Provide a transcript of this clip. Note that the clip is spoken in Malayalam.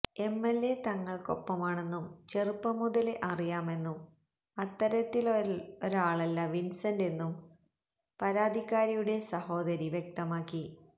എംഎൽഎ തങ്ങൾക്കൊപ്പമാണെന്നും ചെറുപ്പം മുതലേ അറിയാമെന്നും അത്തരത്തിലൊരാളല്ല വിൻസെന്റ് എന്നും പരാത്തിക്കാരിയുടെ സഹോരി വ്യക്തമാക്കി